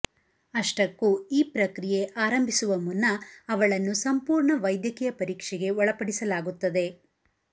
ಅಷ್ಟಕ್ಕೂ ಈ ಪ್ರಕ್ರಿಯೆ ಆರಂಭಿಸುವ ಮುನ್ನ ಅವಳನ್ನು ಸಂಪೂರ್ಣ ವೈದ್ಯಕೀಯ ಪರೀಕ್ಷೆಗೆ ಒಳಪಡಿಸಲಾಗುತ್ತದೆ